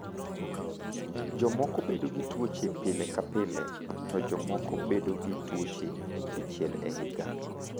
Jomoko bedo gi tuoche pile ka pile, to jomoko bedo gi tuoche dichiel e higa.